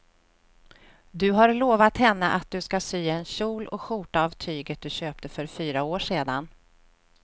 Du har lovat henne att du ska sy en kjol och skjorta av tyget du köpte för fyra år sedan.